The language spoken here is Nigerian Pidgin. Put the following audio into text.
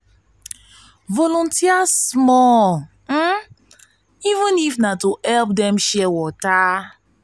volunteer small even if na to help dem share water.